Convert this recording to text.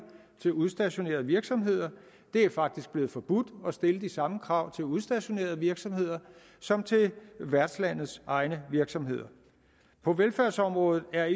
til udstationerede virksomheder det er faktisk blevet forbudt at stille de samme krav til udstationerede virksomheder som til værtslandets egne virksomheder på velfærdsområdet er